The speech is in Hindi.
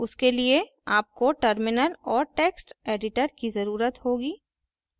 उसके लिए आपको terminal और text editor की जरूरत होगी